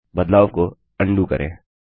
बदलाव को अन्डू करें